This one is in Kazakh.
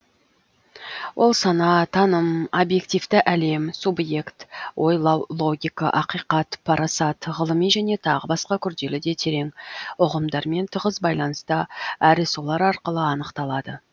ол сана таным объективті әлем субъект ойлау логика ақиқат парасат ғылыми және тағы басқа күрделі де терең ұғымдармен тығыз байланыста әрі солар арқылы анықталады